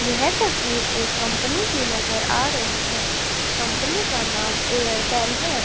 यह तसवीर एक कंपनी की नज़र आ रही है कंपनी का नाम एयरटेल है।